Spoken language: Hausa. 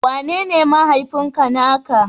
Wanene mahaifinka na ka?